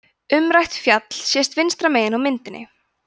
umrætt fjall sést vinstra megin á myndinni